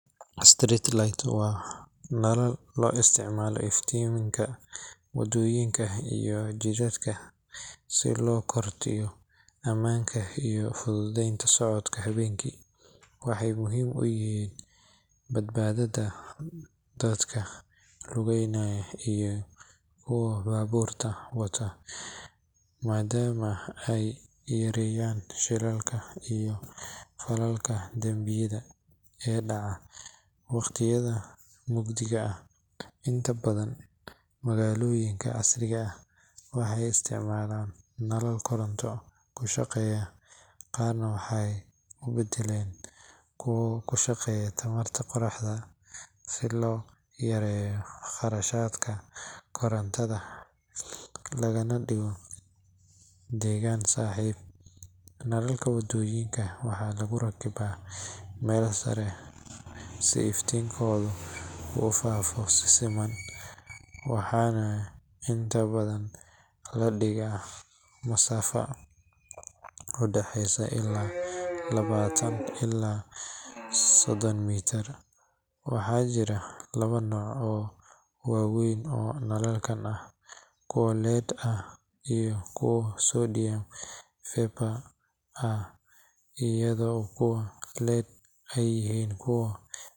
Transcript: Street lights waa nalal loo isticmaalo iftiiminta waddooyinka iyo jidadka si loo kordhiyo ammaanka iyo fududeynta socodka habeenkii. Waxay muhiim u yihiin badbaadada dadka lugeynaya iyo kuwa baabuurta wado, maadaama ay yareeyaan shilalka iyo falalka dambiyada ee dhaca wakhtiyada mugdiga ah. Inta badan magaalooyinka casriga ah waxay isticmaalaan nalal koronto ku shaqeeya, qaarna waxay u beddeleen kuwa ku shaqeeya tamarta qoraxda, si loo yareeyo kharashaadka korontada lagana dhigo deegaan-saaxiib. Nalalka waddooyinka waxaa lagu rakibaa meel sare si iftiinkoodu u faafo si siman, waxaana inta badan la dhigaa masaafo u dhaxeysa ilaa labaatan ilaa soddon mitir. Waxaa jira laba nooc oo waaweyn oo nalalkan ah: kuwa LED ah iyo kuwa sodium vapor ah, iyadoo kuwa LED ay yihiin kuwa.